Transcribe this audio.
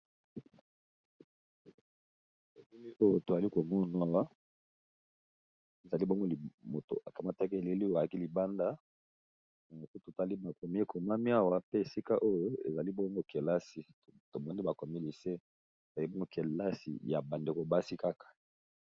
emomi oyo toali komona ezali bongo moto akamataki eleli o alaki libanda moko totali makomi ekomami awa pe esika oyo ezali bono kelasi tomonde bakomi lise bali bongo kelasi ya bandeko basi kaka